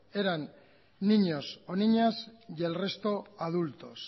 eran niños o niñas y el resto adultos